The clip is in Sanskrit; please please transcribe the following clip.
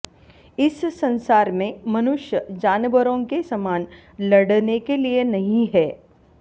इस संसार में मनुष्य जानवरों के समान लड़ने के लिए नहीं है